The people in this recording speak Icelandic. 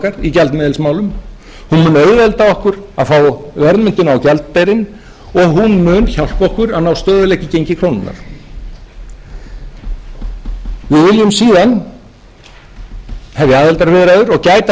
í gjaldmiðilsmálum hún mun auðvelda okkur að fá verðmyndun á gjaldeyrinn og hún mun hjálpa okkur að ná stöðugleika í gengi krónunnar við viljum síðan hefja aðildarviðræður og gæta